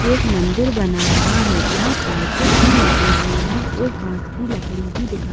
एक मंदिर बना हुआ है यहाँ पर कुछ भी लगे हुए है एक बांस की लकड़ी भी दिखाई ---